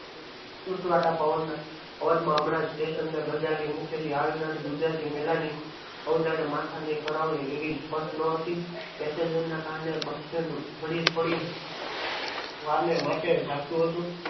સુસવતા પવન ના અવાજ માં હમણાં station ગજવી મુકેલી ગુજરાતી મેલાની અવ્જાણ્યે માથાને કરાવે એવી સ્પસ્થ ન હતી passenger ને કારણે bus stand થોડી થોડી વાર ને માટે જાગતું હતું.